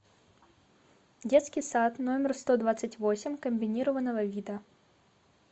детский сад номер сто двадцать восемь комбинированного вида